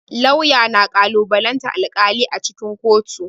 Lauya na kalubalantan alƙali a cikin kotu.